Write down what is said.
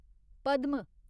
Padma